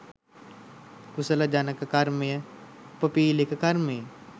කුසල ජනක කර්මය උපපීළක කර්මයෙන්